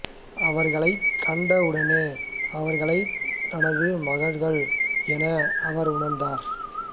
அவர்களைக்கண்ட உடனேயே அவர்களை தனது மகள்கள் என அவர் உணர்ந்தார்